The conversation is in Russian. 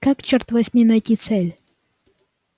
как чёрт возьми найти цель